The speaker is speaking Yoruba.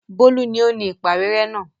Bólú ni ó ni ìpàwérẹ́ náà.